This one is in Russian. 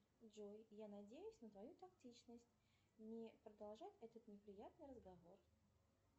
джой я надеюсь на твою тактичность не продолжать этот неприятный разговор